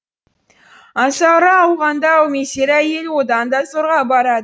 аңсары ауғанда әумесер әйел одан да зорға барады